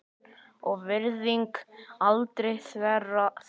og virðing aldrei þverra.